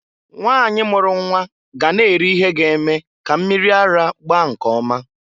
Nwanyị mulu nnwa ga na-eri ihe ga-eme ka mmiri ara gbaa nke ọma.